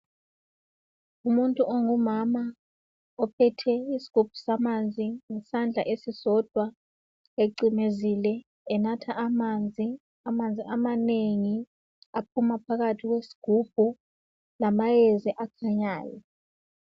Umuntu ongumama ophethe isigubhu samanzi ngesandla esisodwa ecimezile enatha amanzi, amanzi amanengi aphuma phakathi kwesigubhu lamayezi akhanyayo.